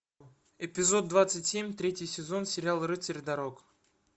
эпизод двадцать семь третий сезон сериал рыцарь дорог